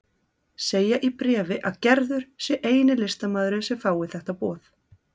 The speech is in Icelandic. Segja í bréfi að Gerður sé eini listamaðurinn sem fái þetta boð.